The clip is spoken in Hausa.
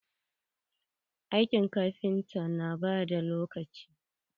Aikin kafinta na ɓata lokaci.